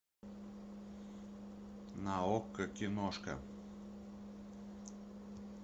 на окко киношка